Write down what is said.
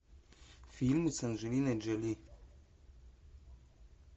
фильм с анджелиной джоли